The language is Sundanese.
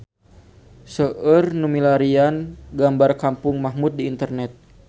Seueur nu milarian gambar Kampung Mahmud di internet